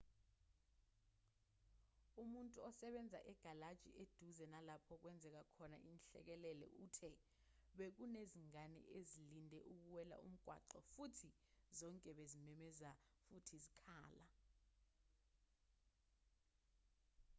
umuntu osebenza egalaji eduze nalapho okwenzeke khona inhlekelele uthe bekunezingane ezilinde ukuwela umgwaqo futhi zonke bezimemeza futhi zikhala